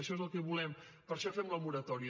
això és el que volem per això fem la moratòria